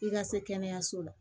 I ka se kɛnɛyaso la